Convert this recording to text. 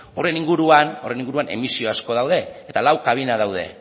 horren inguruan emisio asko daude eta lau kabina daude